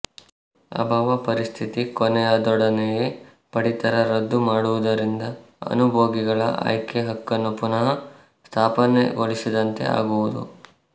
ಅಭಾವ ಪರಿಸ್ಥಿತಿ ಕೊನೆಯಾದೊಡನೆಯೇ ಪಡಿತರ ರದ್ದು ಮಾಡುವುದರಿಂದ ಅನುಭೋಗಿಗಳ ಆಯ್ಕೆ ಹಕ್ಕನ್ನು ಪುನಃ ಸ್ಥಾಪನೆಗೊಳಿಸಿದಂತೆ ಆಗುವುದು